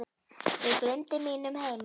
Ég gleymdi mínum heima